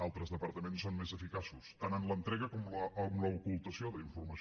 altres departaments són més eficaços tant en l’entrega com en l’ocultació d’informació